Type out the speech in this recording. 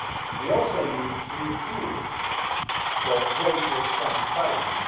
We also need new tools for greater transparency.